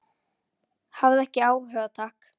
Hafði ekki áhuga, takk.